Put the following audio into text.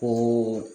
O